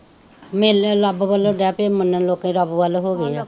ਮੇਲੇ ਰੱਬ ਵੱਲੋ ਡੇ ਪਏ ਮੰਨਣ ਲੋਕੀ ਰੱਬ ਵੱਲ ਹੋ ਗਏ ਹੈ